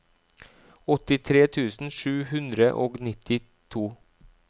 åttitre tusen sju hundre og nittito